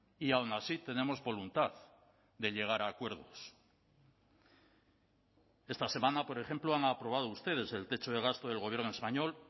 y aun así tenemos voluntad de llegar a acuerdos esta semana por ejemplo han aprobado ustedes el techo de gasto del gobierno español